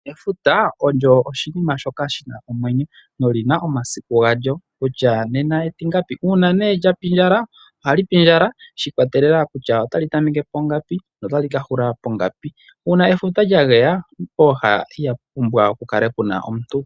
Efuta olyo oshinima shoka shi na omwenyo noli na omasiku galyo kutya nena etingapi uuna ne lya pindjala, oha li pindjala shiikwatelela kutya ota li tameke pongapu no tali ka hula pongapi uuna efuta lya geya pooha ihapu pumbwa pukale pu na omuntu.